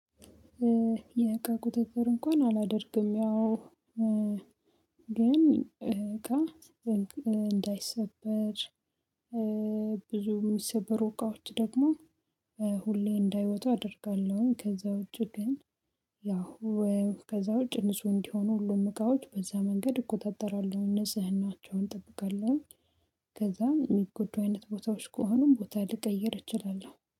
የቀቁጥጥር እንኳን አላደርግም ያው ግን እንዳይሰበር ብዙም የሚሰበሩ እቃዎች ደግሞ ሁሌ እንዳይወጡ አደርጋለሁኝ። ከዛ ውጪ ግን ያው ከዛ ውጪ ንጹህ እንዲሆኑ ሁሉም እቃዎች በዛ መንገድ እቆጣጠራለሁ እነጽህን ናቸውን እጠብቃለሁ። ከዛም የሚጎዱ አይነት ቦታዎች ከሆኑም ቦታ ልቀይር እችላለሁ